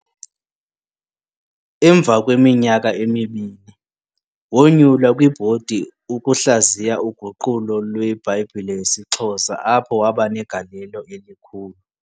Emva kweminyaka emini, wonyulwa kwibhodi ukuhlaziya uguqulo lweBhayibhile yesiXhosa apho wabanegalelo elikhulu.